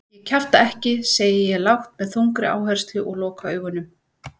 Ég kjafta ekki, segi ég lágt með þungri áherslu og loka augunum.